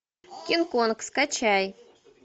кинг конг скачай